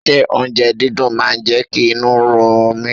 Ṣé oúnjẹ dídùn máa jẹ́ kí inú run mí?